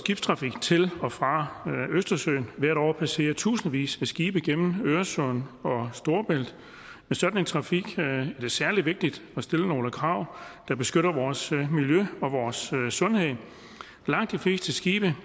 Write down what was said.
skibstrafik til og fra østersøen hvert år passerer tusindvis af skibe gennem øresund og storebælt med sådan en trafik er det særlig vigtigt at stille nogle krav der beskytter vores miljø og vores sundhed langt de fleste skibe